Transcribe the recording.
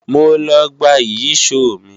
Mo lọ gba Ìyíṣòó mi